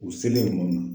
U selen kɔni